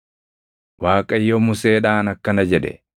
Waaqayyo Museedhaan akkana jedhe;